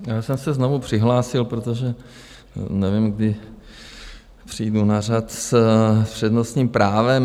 Já jsem se znovu přihlásil, protože nevím, kdy přijdu na řadu s přednostním právem.